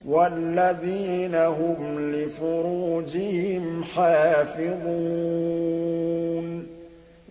وَالَّذِينَ هُمْ لِفُرُوجِهِمْ حَافِظُونَ